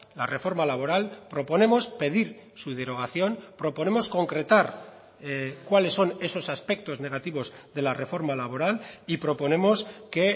la reforma laboral proponemos pedir su derogación proponemos concretar cuáles son esos aspectos negativos de la reforma laboral y proponemos que